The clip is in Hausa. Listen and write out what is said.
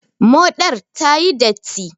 Moɗar ta yi datti.